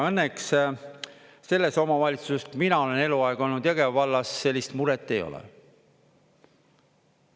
Õnneks selles omavalitsuses, kus mina olen eluaeg olnud – Jõgeva vallas –, sellist muret ei ole.